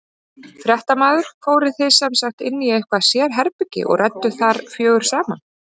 Fréttamaður: Fóruð þið sem sagt inn í eitthvað sérherbergi og rædduð þar fjögur saman?